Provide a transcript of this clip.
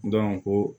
ko